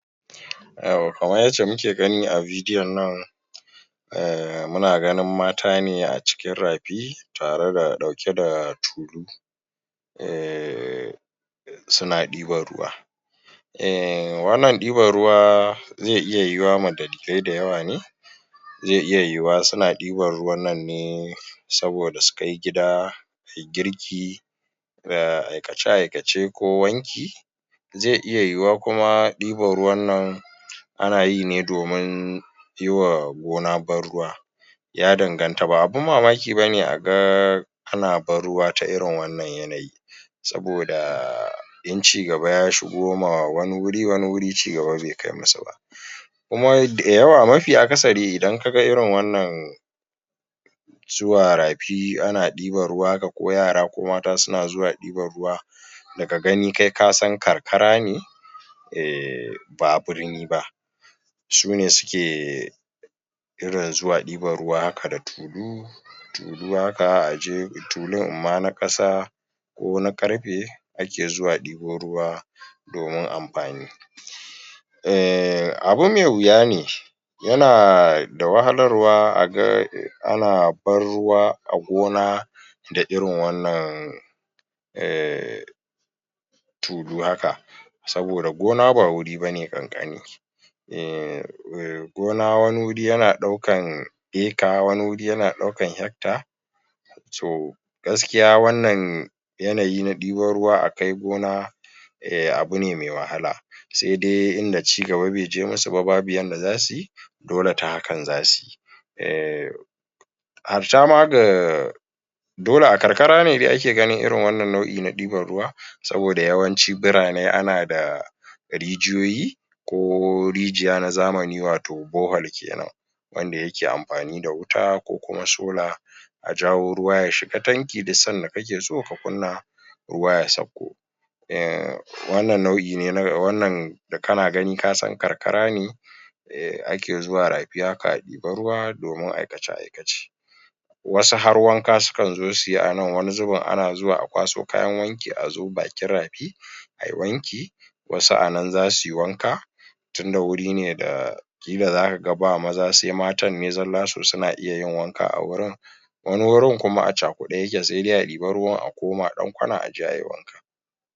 yauwa kamar yacce muke gani a bidiyon nan ehm muna ganin mata acikin rafi tare dauke da tulu ehhmmm suna diban ruwa eh wannan ɗiban zai iya yuwuwa ma dalilai dayawa ne zai iya yuwu wa suna diban ruwan nan ne saboda su kai gida ayi girki da aikace aikace ko wanki zai iya yuwuwa kuma ɗiban ruwan nan anayi domin yima gona ban ruwa ya danganta ba abun mamaki bane a ga ana ban ruwa ta irin wannan yanayi saboda in cigaba ya shigo ma wani wuri wani wuri cigaba bai kaimusu ba kuma da yawa mafi akasari idan kaga irin wannan zuwa rafi ana ɗiban ruwa haka ko yara ko mata suna zuwa ɗiban ruwa daga gani kai kasan karkara ne ehh ba birni ba sune suke suke zuwa ɗiban ruwa haka da tulu tulu haka aje tulum amma na kasa ko na karfe ake zuwa ɗibo ruwa domin amfani ehh abu mai wuya ne yana da wahalar wa aga ana ban ruwa a gona da irin wannan ehh tulu haka saboda gona ba wuri bane kankani umm gona wani guri yana daukan ecter wani guri yan daukan hecter toh gaskiya wannan yanayi na ɗiban ruwa a kai gona abune mai wahala sai dai idan cigaba bai kaimu su ba babu yadda zasuyi dole ta hakan zasuyi ehh harta ma ga dole a karkara ne ma ake ganin irin wannan nau'in deban ruwa saboda yawanci birane ana da rijiyoyi ko rijiya na zamani wato borehole kenan wanda yake amfani da wuta ko kuma sola ajawo ruwa ya shiga tanki sanda kake so ka kunnan ruwa ya sakko hmm wannnan nau'i ne wannan da kana gani kasan karkara ne ake zuwa rafi haka a ɗeba ruwa domin aikace aikace wasu har wanka sukan zo suyi anan wani zubin ana zuwa akwaso kayan wanki azo bakin rafi ayi wanki wasu anan zasu yi wanka tunda wuri ne zaka ga ba maza sai matan ne zalla suna iya yin wanka a wurin wani wurin kuma acakude yake sai dai a ɗiba ruwan akoma dan kwana aje ayi wanka